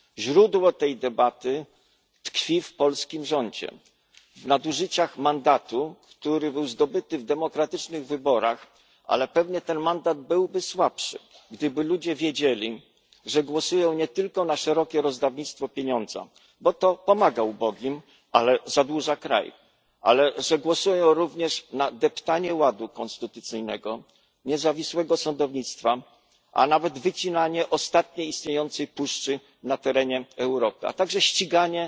Źródło tej debaty tkwi w polskim rządzie, w nadużyciach mandatu, który był zdobyty w demokratycznych wyborach, ale pewnie byłby on słabszy, gdyby ludzie wiedzieli, że głosują nie tylko na szerokie rozdawnictwo pieniądzy co pomaga ubogim, ale zadłuża kraj ale że głosują również na deptanie ładu konstytucyjnego, niezawisłego sądownictwa, a nawet wycinanie ostatniej istniejącej puszczy na terenie Europy, ale także ściganie